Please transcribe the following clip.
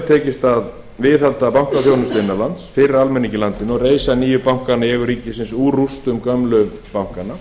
tekist að viðhalda bankaþjónustu innanlands fyrir almenning í landinu og reisa nýja banka í eigu ríkisins úr rústum gömlu bankanna